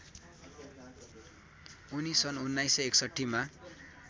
उनी सन् १९६१मा